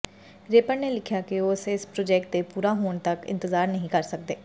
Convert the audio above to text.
wrapper ਨੇ ਲਿਖਿਆ ਕਿ ਉਹ ਇਸ ਪ੍ਰੋਜੈਕਟ ਦੇ ਪੂਰਾ ਹੋਣ ਤਕ ਇੰਤਜ਼ਾਰ ਨਹੀਂ ਕਰ ਸਕਦੇ